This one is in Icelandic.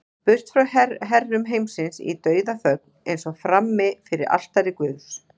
Burt frá herrum heimsins í dauðaþögn, eins og frammi fyrir altari guðs.